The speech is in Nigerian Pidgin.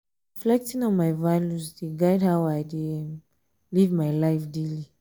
reflecting on my values dey guide how i um dey um live my life um daily.